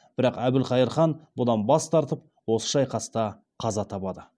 бірақ әбілқайыр хан бұдан бас тартып осы шайқаста қаза табады